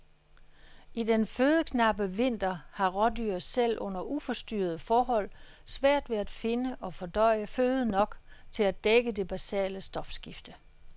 I den fødeknappe vinter har rådyr selv under uforstyrrede forhold svært ved at finde og fordøje føde nok til at dække det basale stofskifte.